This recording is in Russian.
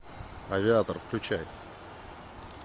авиатор включай